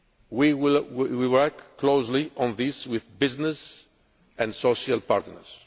continent. We will work closely on this with business and social